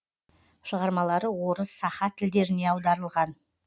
шығармалары орыс саха тілдеріне аударылған